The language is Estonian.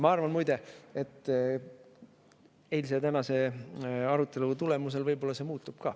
Ma arvan, muide, et eilse ja tänase arutelu tulemusel see võib-olla muutub.